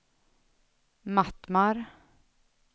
Mattmar